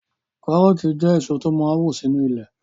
Kárọ̀ọ̀tì jẹ́ èso tó máa n wù sínu ilẹ̀